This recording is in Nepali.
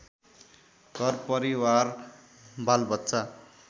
घरपरिवार बालबच्चा